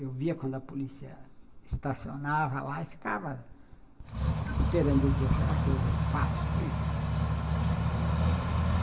Eu via quando a polícia estacionava lá e ficava esperando eu dizer, será que hoje eu passo, né? Eh...